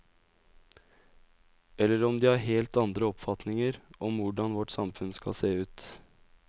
Eller om de har helt andre oppfatninger om hvordan vårt samfunn skal se ut.